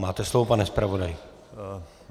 Máte slovo, pane zpravodaji.